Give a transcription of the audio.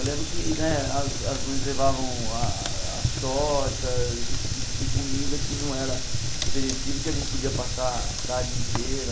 Eu lembro que né as as mães levavam a as tortas, esse tipo de comida que não era perecível e que a gente podia passar a tarde inteira.